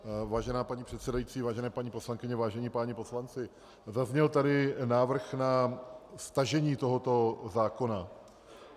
Vážená paní předsedající, vážené paní poslankyně, vážení páni poslanci, zazněl tady návrh na stažení tohoto zákona.